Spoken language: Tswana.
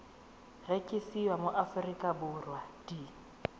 rekisiwa mo aforika borwa di